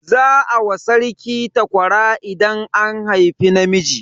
Za a wa sarki takwara idan an haifi namiji.